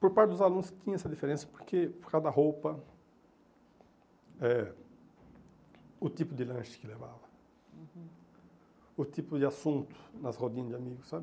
Por parte dos alunos tinha essa diferença, porque por causa da roupa, eh o tipo de lanche que levava, o tipo de assunto nas rodinhas de amigos, sabe?